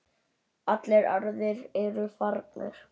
Allir aðrir eru farnir.